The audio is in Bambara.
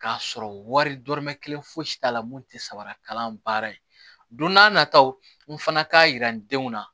K'a sɔrɔ wari dɔrɔmɛ kelen fosi t'a la mun te samara kalan baara ye don n'a nataw n fana k'a yira n denw na